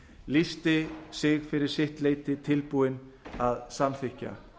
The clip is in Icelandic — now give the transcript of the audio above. lýsti sig fyrir sitt leyti tilbúinn að samþykkja